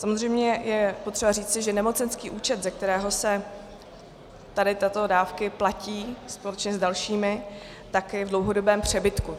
Samozřejmě je potřeba říci, že nemocenský účet, ze kterého se tady tyto dávky platí společně s dalšími, je v dlouhodobém přebytku.